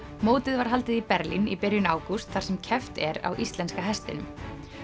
mótið var haldið í Berlín í byrjun ágúst þar sem keppt er á íslenska hestinum